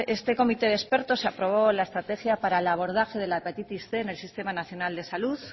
este comité de expertos se aprobó la estrategia para el abordaje de la hepatitis cien en el sistema nacional de salud